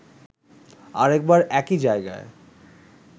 আরেকবার একই জায়গায়